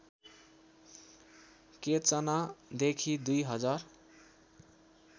केचनादेखि २ हजार